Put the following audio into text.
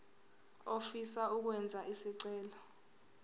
ofisa ukwenza isicelo